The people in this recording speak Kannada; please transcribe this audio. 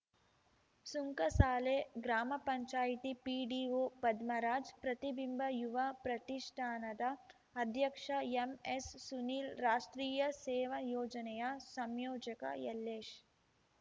ಸುಂಕಸಾಲೆ ಗ್ರಾಮ ಪಂಚಾಯ್ತಿ ಪಿಡಿಒ ಪದ್ಮರಾಜ್‌ ಪ್ರತಿಬಿಂಬ ಯುವ ಪ್ರತಿಷ್ಠಾನದ ಅಧ್ಯಕ್ಷ ಎಂಎಸ್‌ಸುನೀಲ್‌ ರಾಷ್ಟ್ರೀಯ ಸೇವಾ ಯೋಜನೆಯ ಸಂಯೋಜಕ ಯಲ್ಲೇಶ್‌